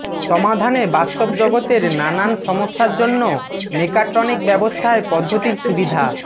সমাধানে বাস্তব জগতের নানান সমস্যার জন্য মেকাট্রনিকব্যবস্থায় পদ্ধতির সুবিধা